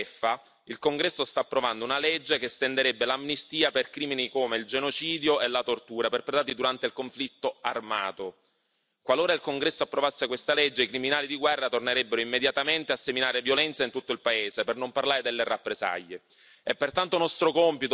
Per aggiungere al danno la beffa, il Congresso sta approvando una legge che estenderebbe l'amnistia per crimini come il genocidio e la tortura perpetrati durante il conflitto armato. Qualora il Congresso approvasse questa legge, i criminali di guerra tornerebbero immediatamente a seminare violenza in tutto il paese, per non parlare delle rappresaglie.